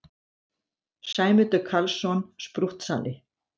Sæmundur Karlsson, sprúttsali!